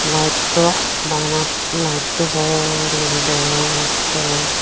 lightto bana lightto por guri degong ekkorey.